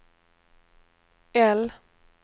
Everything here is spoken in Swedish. L